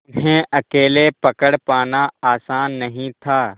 उन्हें अकेले पकड़ पाना आसान नहीं था